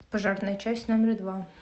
пожарная часть номер два